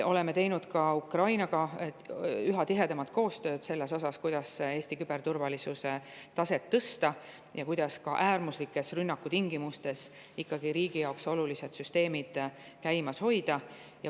Oleme teinud üha tihedamat koostööd ka Ukrainaga, kuidas Eesti küberturvalisuse taset tõsta ja kuidas ka äärmuslikes rünnakutingimustes ikkagi riigi jaoks olulised süsteemid käimas hoida.